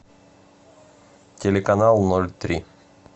телеканал ноль три